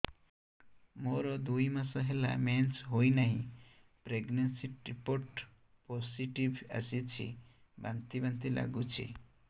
ମୋର ଦୁଇ ମାସ ହେଲା ମେନ୍ସେସ ହୋଇନାହିଁ ପ୍ରେଗନେନସି ରିପୋର୍ଟ ପୋସିଟିଭ ଆସିଛି ବାନ୍ତି ବାନ୍ତି ଲଗୁଛି